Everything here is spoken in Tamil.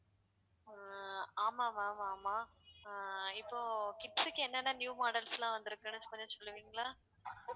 ஆஹ் ஆமா ma'am ஆமா அஹ் இப்போ kids க்கு என்னென்ன new models லாம் வந்துருக்குன்னு சொல்லுவீங்களா